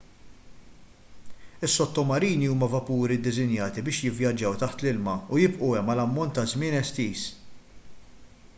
is-sottomarini huma vapuri ddisinjati biex jivvjaġġaw taħt l-ilma u jibqgħu hemm għal ammont ta' żmien estiż